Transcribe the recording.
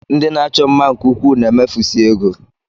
Ndị na-achọ mma nke ukwuu na-emefusị ego